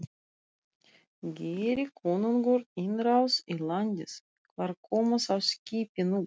Geri konungur innrás í landið, hvar koma þá skipin upp?